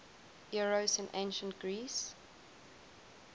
eros in ancient greece